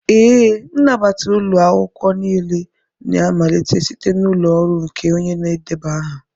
Ee, nnabata ụlọ akwụkwọ niile na-amalite site n'ụlọ ọrụ nke onye na-edeba aha.